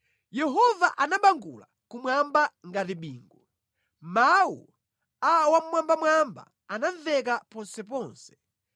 Yehova anabangula kumwamba ngati bingu, mawu a Wammwambamwamba anamveka ponseponse.